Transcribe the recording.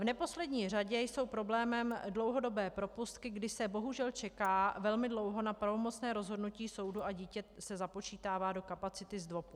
V neposlední řadě jsou problémem dlouhodobé propustky, kdy se bohužel čeká velmi dlouho na pravomocné rozhodnutí soudu a dítě se započítává do kapacity ZDVOPu.